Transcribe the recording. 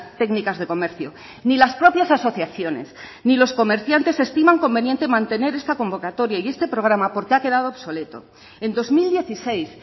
técnicas de comercio ni las propias asociaciones ni los comerciantes estiman conveniente mantener esta convocatoria y este programa porque ha quedado obsoleto en dos mil dieciséis